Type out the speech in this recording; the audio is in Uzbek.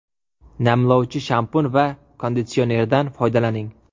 Namlovchi shampun va konditsionerdan foydalaning.